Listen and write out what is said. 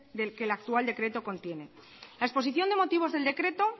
que el actual decreto contiene la exposición de motivos del decreto